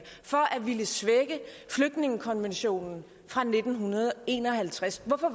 ville svække flygtningekonventionen fra nitten en og halvtreds hvorfor